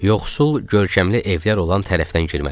Yoxsul görkəmli evlər olan tərəfdən girməli idik.